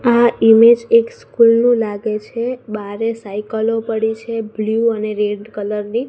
આ ઇમેજ એક સ્કૂલ નુ લાગે છે બારે સાઈકલો પડી છે બ્લુ અને રેડ કલર ની.